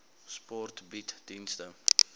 sport bied dienste